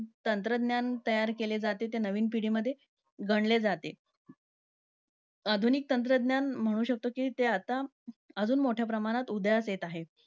तंत्रज्ञान तयार केले जाते, ते नवीन पिढीमध्ये गणले जाते. आधुनिक तंत्रज्ञान म्हणू शकतो, कि ते आता अजून मोठ्या प्रमाणात उदयास येत आहे.